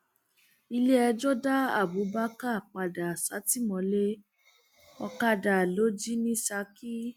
iléẹjọ da abubakar padà sátìmọlé ọkadà ló jì ní saki